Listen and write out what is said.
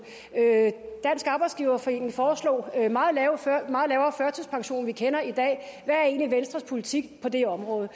dansk arbejdsgiverforening foreslog meget lavere førtidspension end vi kender i dag hvad er egentlig venstres politik på det område